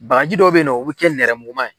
Bagaji dɔw bɛ yen nɔ u bɛ kɛ nɛrɛmuguma ye